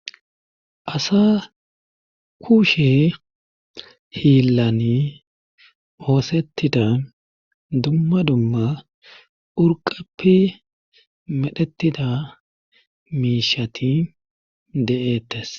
asa kushe hiillani oosettida dumma dumma urqappi medhettida miishati de7ettes